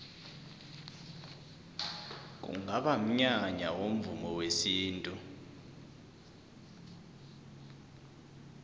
kungaba mnyanya womvumo wesintu